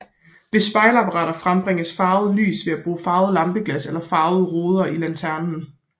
Ved spejlapparater frembringes farvet lys ved at bruge farvede lampeglas eller farvede ruder i lanternen